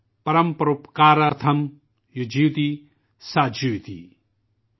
پرم پروپکارتھم، یو جیوتی سا جیوتی ||